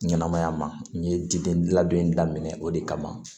Ɲɛnɛmaya ma n ye diden labɛn in daminɛ o de kama